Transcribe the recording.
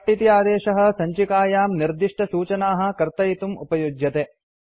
cut इति आदेशः सञ्चिकायां निर्दिष्टसूचनाः कर्तयितुम् उपयुज्यते